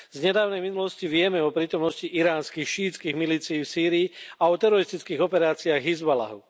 Z nedávnej minulosti vieme o prítomnosti iránskych šiítských milícií v Sýrii a o teroristických operáciách Hizballáhu.